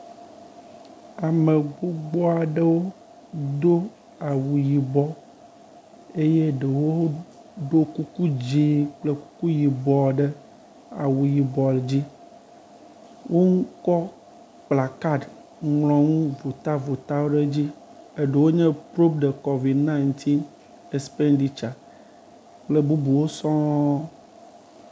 Ame gbogbo aɖewo do awu yibɔ eye ɖewo ɖo kuku dzi kple kuku yibɔ ɖe awu yibɔ dzi. wokɔ kplakaɖi ŋlɔnu votavotawo ɖe edz. Eɖewo nye pruv de kovid ɛɣ expenditsa.